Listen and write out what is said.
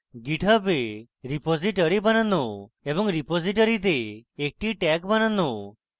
github a repository বানানো এবং রিপোজিটরীতে একটি tag বানানো